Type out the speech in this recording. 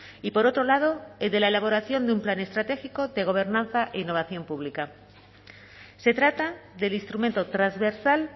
y por otro lado el de la elaboración de un plan estratégico de gobernanza e innovación pública se trata del instrumento transversal